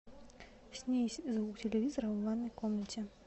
снизь звук телевизора в ванной комнате